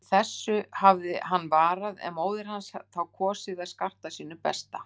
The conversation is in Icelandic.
Við þessu hafði hann varað en móðir hans þá kosið að skarta sínu besta.